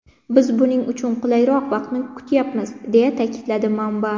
Biz buning uchun qulayroq vaqtni kutyapmiz”, deya ta’kidladi manba.